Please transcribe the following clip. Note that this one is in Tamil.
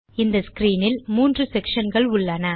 இந்த ஸ்க்ரீன் இல் மூன்று செக்ஷன் கள் உள்ளன